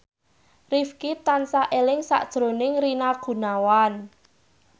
Rifqi tansah eling sakjroning Rina Gunawan